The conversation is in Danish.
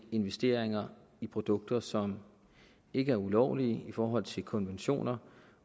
investeringer i produkter som ikke er ulovlige i forhold til konventioner